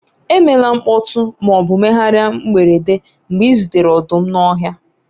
emela mkpọtụ ma ọ bụ mmegharị mberede mgbe ị zutere ọdụm n'ọhịa